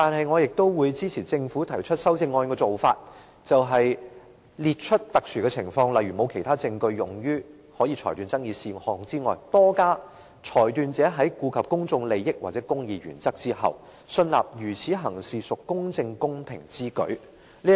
我會支持政府提出修正案的做法，在列出特殊的情況，例如沒有其他證據可用於裁斷爭議事項外，多加一項條件：裁斷者在顧及公眾利益或公義原則後，信納如此行事屬公正公平之舉。